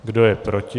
Kdo je proti?